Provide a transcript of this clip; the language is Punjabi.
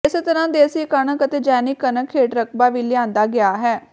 ਇਸੇ ਤਰ੍ਹਾਂ ਦੇਸੀ ਕਣਕ ਅਤੇ ਜੈਵਿਕ ਕਣਕ ਹੇਠ ਰਕਬਾ ਵੀ ਲਿਆਂਦਾ ਗਿਆ ਹੈ